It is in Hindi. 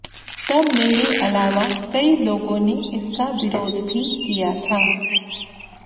तब मेरे अलावा कई लोगों ने इसका विरोध भी किया था